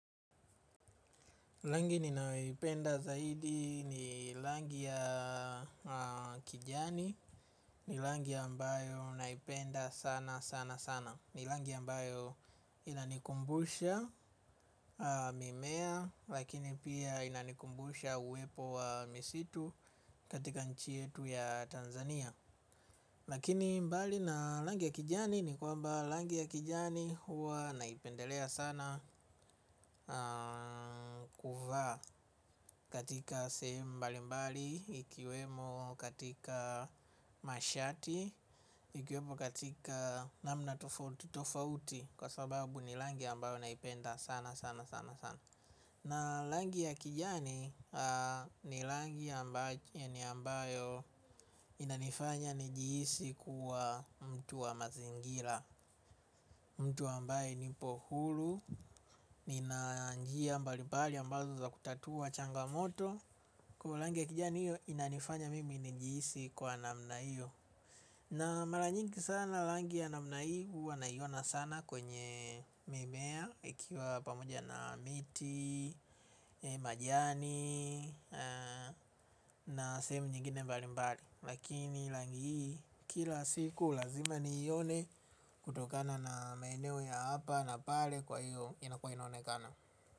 Rangi ninayoipenda zaidi ni langi ya kijani ni langi ambayo naipenda sana sana sana. Ni langi ambayo inanikumbusha mimea lakini pia inanikumbusha uwepo wa misitu katika nchi yetu ya Tanzania. Lakini mbali na langi ya kijani ni kwamba langi ya kijani huwa naipendelea sana kuvaa katika sehemu mbali mbali, ikiwemo katika mashati, ikiwemo katika namna tofauti tofauti kwa sababu ni langi ambayo naipenda sana sana sana sana. Na langi ya kijani ni langi ambayo inanifanya nijihisi kuwa mtu wa mazingira. Mtu ambaye nipo huru, nina njia mbali mbali ambazo za kutatua changamoto. Kwa langi ya kijani inanifanya mimi nijihisi kuwa namna hiyo. Na mara nyingi sana langi ya namna hii huwa naiona sana kwenye mimea. Ikiwa pamoja na miti, majani na sehemu nyingine mbali mbali lakini langi kila siku lazima niione kutokana na maeneo ya hapa na pale kwa hiyo inakuwa inaonekana.